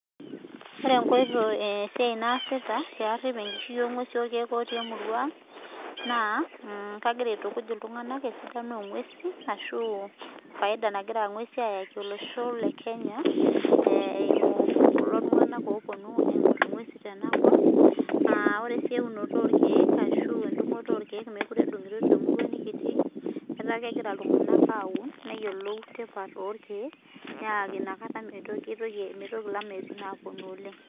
Ore esiai naasita pee arip enkishui oo ng'uesi orkeek otii emurua ang naa kagira aitukuj iltung'ana esidano oo ng'uesi ashu faida nagira ng'uesi ayaki olosho lee Kenya eyimu kulo tung'ana opuonu aing'or eng'usi tenakop ore sii eunoto orkeek ashu edungoto orkeek mekure edungitoi irkeek temurua nikitii etaa kegira iltung'ana aun neyiolou tipat orkeek naa ena kata mitoki elameitin apuonu oleng